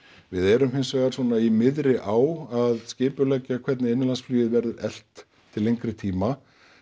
við erum hins vegar svona í miðri á að skipuleggja hvernig innanlandsflugið verður eflt til lengri tíma